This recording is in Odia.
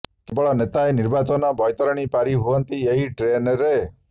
କେବଳ ନେତାଏ ନିର୍ବାଚନ ବୈତରଣୀ ପାରି ହୁଅନ୍ତି ଏହି ଟ୍ରେନରେ